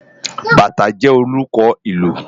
Bátã jè órùkò ilù